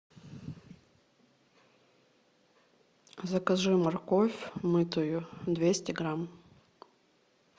закажи морковь мытую двести грамм